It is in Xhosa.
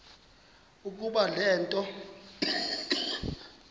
ukuba le nto